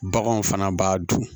Baganw fana b'a dun